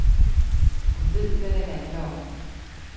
Hun ved, hvad det handler om.